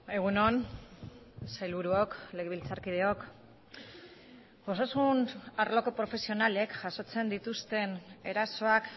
egun on sailburuok legebiltzarkideok osasun arloko profesionalek jasotzen dituzten erasoak